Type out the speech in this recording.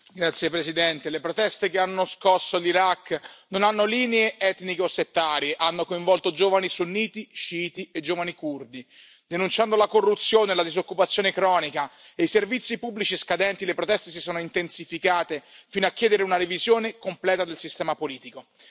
Signor Presidente, onorevoli colleghi, le proteste che hanno scosso l'Iraq non hanno linee etniche o settarie, hanno coinvolto giovani sunniti, sciiti e giovani curdi. Denunciando la corruzione, la disoccupazione cronica e i servizi pubblici scadenti, le proteste si sono intensificate fino a chiedere una revisione completa del sistema politico.